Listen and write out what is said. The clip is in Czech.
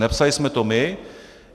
Nepsali jsme to my.